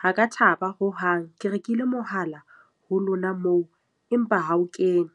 Ha ka thaba hohang. Ke rekile mohala ho lona moo, empa ha o kene.